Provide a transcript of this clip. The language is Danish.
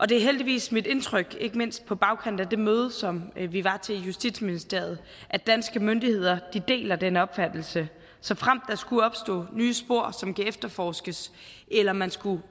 det er heldigvis mit indtryk ikke mindst på bagkant af det møde som vi var til i justitsministeriet at danske myndigheder deler den opfattelse såfremt der skulle opstå nye spor som kan efterforskes eller man skulle